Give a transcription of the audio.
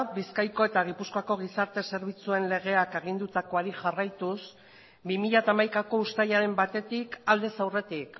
bizkaiko eta gipuzkoako gizarte zerbitzuen legeak agindutakoari jarraituz bi mila hamaikako uztailaren batetik aldez aurretik